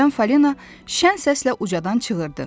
Birdən Fali şən səslə ucadan çığırdı.